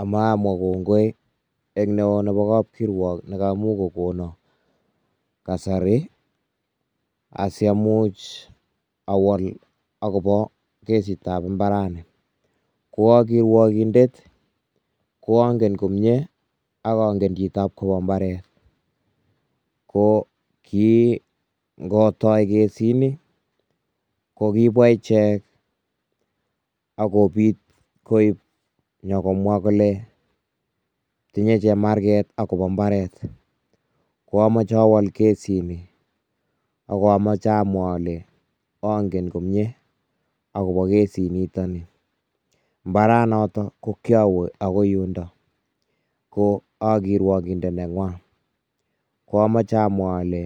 Amoe amwa kongoi eng neo nebo kab kirwok nekamuch kokonon kasari asiamuch awol akobo kesitab imbarani, ko akirwokindet ko angen komnyee akonget jito nebo imbaret, ko kii ngotoi kesit nii, ko kibwa ijek akoib nyokomwa kole tinye jemarket akobo imbaret, ko amoche awol kesit, ak amoche amwa ale ongen komnyee akobo kesit nito, imbaranato ko kirawe akoi yundo ko akirwokindet nenywan, ko amoche amwa ale,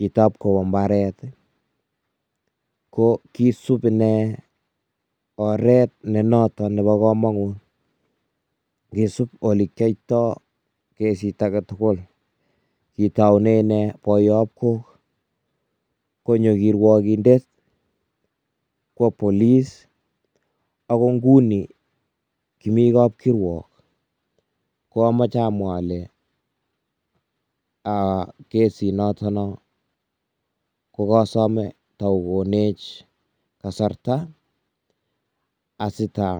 Jito nebo imbaret ko kisub inee oret ne noto nebo komonut, kisub ole kiyoito kesit aketugul, kitoune inee boiywob kok, konyo kirwokindet, kwo police ako inguni Kimi kab kirwok, ko amoche amwa ale aaa kesit natanon ko kasome taokonech kasarta asitaa.